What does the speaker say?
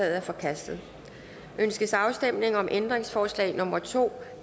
er forkastet ønskes afstemning om ændringsforslag nummer to